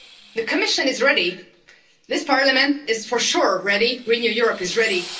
The Commission is ready this Parliament is, for sure, ready Renew Europe is ready.